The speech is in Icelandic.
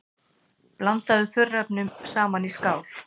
Blandið þurrefnunum saman í skál.